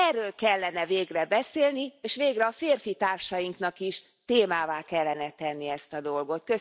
Erről kellene végre beszélni, és végre a férfitársainknak is témává kellene tenni ezt a dolgot.